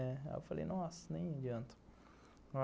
Falei, nossa, nem adianta.